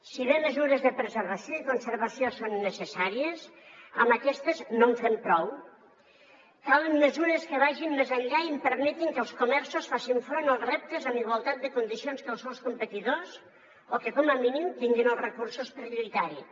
si bé mesures de preservació i conservació són necessàries amb aquestes no en fem prou calen mesures que vagin més enllà i permetin que els comerços facin front als reptes amb igualtat de condicions que els seus competidors o que com a mínim tinguin els recursos per lluitar hi